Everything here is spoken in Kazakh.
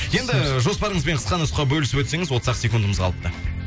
енді жоспарыңызбен қысқа нұсқа бөлісіп өтсеңіз отыз ақ секундымыз қалыпты